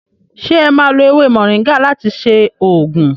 Se e má lo ewé moringa láti ṣe oògùn?